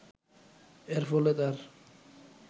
এর ফলে তার